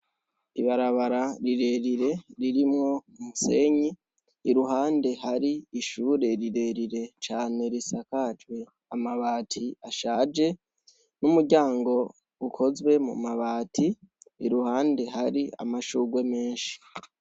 Ibarabara rirerire ririmwo musenyi iruhande hari ishure rirerire cane risakajwe amabati ashaje n'umuryango ukozwe mu mabati iruhande hari amashugwe menshi.